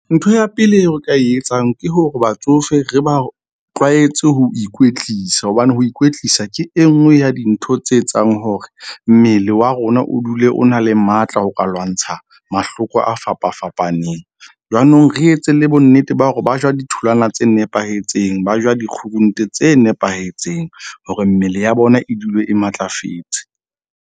Ntho ya pele eo o ka e etsang ke hore batsofe, re ba tlwaetse ho ikwetlisa. Hobane ho ikwetlisa ke e nngwe ya dintho tse etsang hore mmele wa rona o dule o na le matla ho ka lwantsha mahloko a fapa fapaneng. Jwanong re etse le bonnete ba hore ba ja ditholwana tse nepahetseng, ba ja dikgurunte tse nepahetseng hore mmele ya bona e dule e matlafetse.